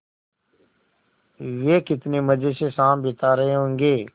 वे कितने मज़े से शाम बिता रहे होंगे